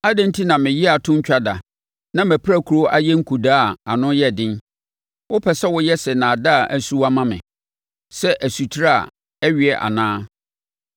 Adɛn enti na me yea to ntwa da na mʼapirakuro ayɛ nkudaa a ano yɛ den? Wopɛ sɛ woyɛ sɛ nnaadaa asuwa ma me, sɛ asutire a ɛweɛ anaa?